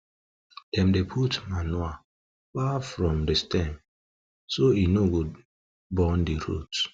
dem dey put manure far from stem so e no go burn the root